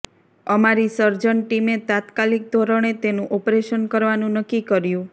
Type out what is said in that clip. અમારી સર્જન ટીમે તાત્કાલિક ધોરણે તેનું ઓપરેશન કરવાનું નક્કી કર્યું